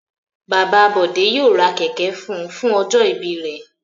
Bàbá Bọ̀dé yóò ra kéékì fún un fún ọjọ́-ìbí rẹ̀.